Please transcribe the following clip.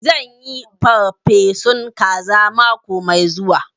Zan yi farfesun kaza mako mai zuwa